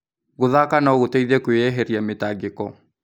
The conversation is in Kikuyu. Gũthaka no gũteithie kũeheria mĩtangĩko.